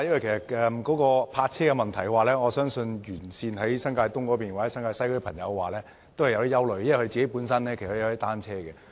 但是，對於泊位問題，我相信新界東及新界西的居民多少也有些憂慮，因為他們本身也擁有單車。